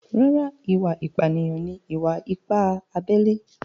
Rárá, ìwà apànìyàn ni ìwà-ipá abẹ́lé